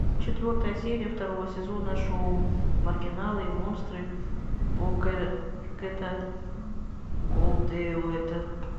четвертая серия второго сезона шоу маргиналы и монстры бобкэта голдтуэйта